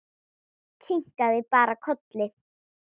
Kinkaði bara kolli.